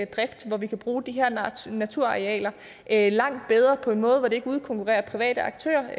drift hvor vi kunne bruge de her naturarealer langt bedre på en måde hvor det ikke udkonkurrerede private aktører